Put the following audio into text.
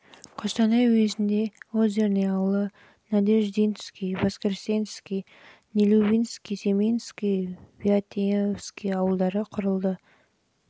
қостанай уезінде жылы озерный ауылы жылы надеждинский воскресенский ал жылы нелюбинский семеновский және виаентьевский ауылдары құрылды негізгі тұрғындары